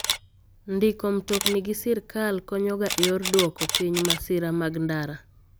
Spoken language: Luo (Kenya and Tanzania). Ndiko mtokni gi sirkal konyoga e yor duko piny masira mag ndara.